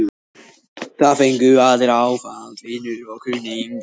Það fengu allir áfall, vinir og kunningjar.